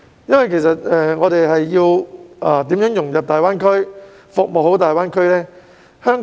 香港要如何融入及服務大灣區呢？